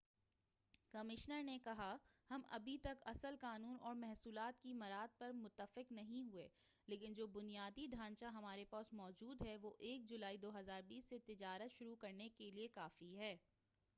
commissioner نے کہا ہم ابھی تک اصل قانون اور محصولات کی مراعات پر متفق نہیں ہوئے ہیں لیکن جو بُنیادی ڈھانچہ ہمارے پاس موجود ہے وہ 1 جولائی 2020 سے تجارت شروع کرنے کیلئے کافی ہے